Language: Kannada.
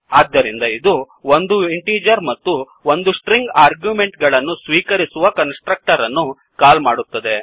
ಆದ್ದರಿಂದ ಇದು ಒಂದು ಇಂಟೀಜರ್ ಮತ್ತು ಒಂದು ಸ್ಟ್ರಿಂಗ್ ಆರ್ಗ್ಯೂಮೆಂಟ್ ಗಳನ್ನು ಸ್ವೀಕರಿಸುವ ಕನ್ಸ್ ಟ್ರಕ್ಟರ್ ಅನ್ನು ಕಾಲ್ ಮಾಡುತ್ತದೆ